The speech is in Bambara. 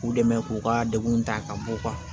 K'u dɛmɛ k'u ka dekun ta ka bɔ u kan